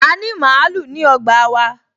A ní màálù ní ọgbà wa